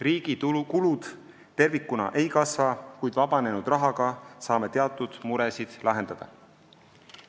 Riigi kulud tervikuna ei kasva, kuid vabanenud rahaga saame teatud muresid lahendada.